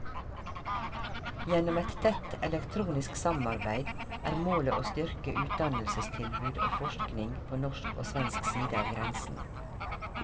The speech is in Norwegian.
Gjennom et tett elektronisk samarbeid er målet å styrke utdannelsestilbud og forskning på norsk og svensk side av grensen.